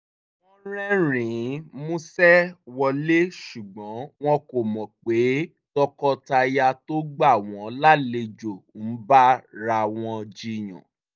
wọ́n rẹ́rìn-ín músẹ́ wọlé ṣùgbọ́n wọn kò mọ̀ pé tọkọtaya tó gbà wọ́n lálejò ń bára wọn jiyàn